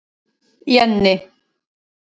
Jenni